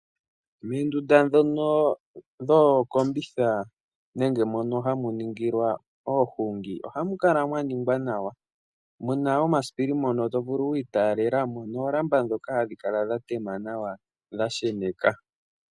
Moondunda ndhono dhookombitha nenge mono hamu ningilwa oohungi, ohamu kala mwaningwa nawa . Omuna omasipili mono to vulu okwiitalelamo noolamba ndhoka hadhi kala dhatema nawa dha sheneka.